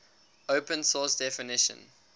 open source definition